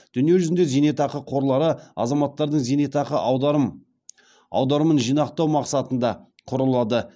дүниежүзінде зейнетақы қорлары азаматтардың зейнетақы аударымын жинақтау масқатында құрылады